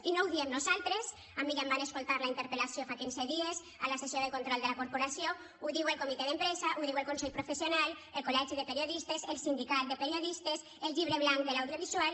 i no ho diem nosaltres a mi ja em van escoltar en la interpel·lació fa quinze dies a la sessió de control de la corporació ho diu el comitè d’empresa ho diu el consell professional el col·legi de periodistes el sindicat de periodistes el llibre blanc de l’audiovisual